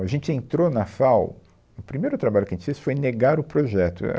A gente entrou na FAU... O primeiro trabalho que a gente fez foi negar o projeto, éh.